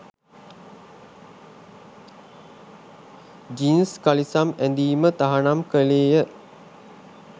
Jeans කලිසම් ඇඳීම තහනම් කෙළේය.